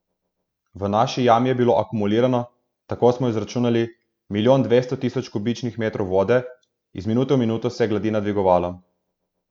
V naši jami je bilo akumulirano, tako smo izračunali, milijon dvesto tisoč kubičnih metrov vode, iz minute v minuto se je gladina dvigovala.